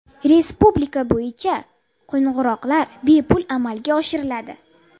Respublika bo‘yicha qo‘ng‘iroqlar bepul amalga oshiriladi.